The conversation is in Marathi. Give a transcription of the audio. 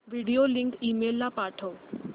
व्हिडिओ लिंक ईमेल ला पाठव